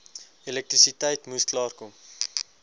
elektrisiteit moes klaarkom